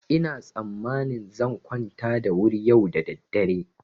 Ina tsammanin zan kwanta da wuri yau da daddare.